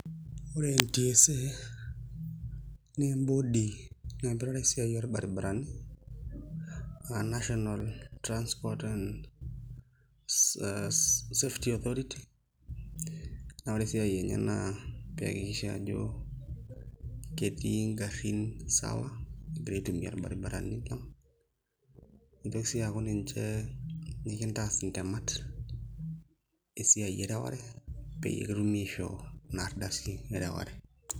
Ore NTSA naa embodi naipirare esiai orbaribarani aa National Transport and Safety Authority naa ore esiai enye naa pee iakikishia ajo ketii ngarrin sawa egira aitumia irbaribarani lang' nitoki sii aaku ninche nikintaas ntemat esiai ereware peyie kitumi aishoo ina ardasi ereware.